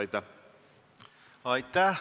Aitäh!